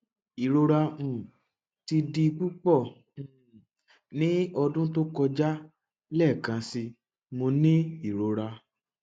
irora um ti di pupọ um ni ọdun to kọja lẹẹkansi mo ni irora